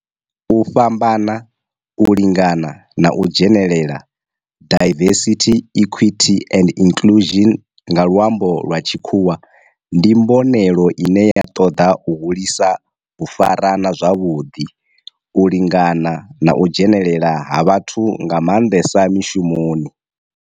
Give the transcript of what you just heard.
U fhambana, u lingana na u dzhenelela diversity, equity and inclusion nga lwambo lwa tshikhuwa ndi mbonelelo ine ya toda u hulisa u farana zwavhudi, u lingana na u dzhenelela ha vhathu nga mandesa mishumoni.